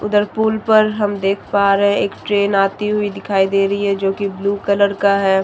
उधर पुल पर हम देख पा रहे हैं एक ट्रेन आती हुई दिखाई दे रही है जो की ब्लू कलर का है।